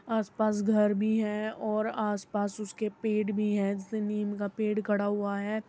आसपास घर भी हैं और आसपास उसके पेड़ भी हैं जेसे निम का पेड़ खड़ा हुआ है।